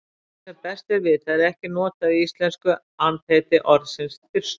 Eftir því sem best er vitað er ekki notað í íslensku andheiti orðsins þyrstur.